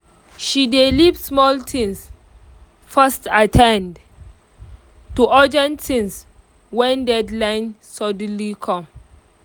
she dey leave small things first at ten d to urgent things when deadline suddenly come